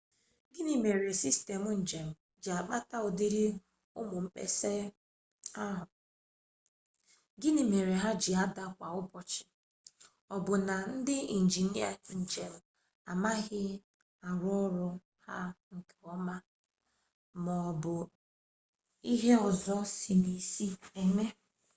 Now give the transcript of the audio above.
gịnị mere sistemụ njem ji akpata ụdịrị ụmụ mkpesa ahụ gịmị mere ha ji ada kwa ụbọchị ọ bụ na ndị injinịa njem amaghị arụ ọrụ ha nke ọma ma ọ bụ ihe ọzọ si n'isi na-eme